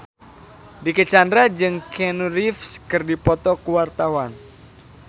Dicky Chandra jeung Keanu Reeves keur dipoto ku wartawan